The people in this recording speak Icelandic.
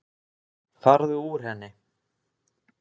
Farðu úr henni.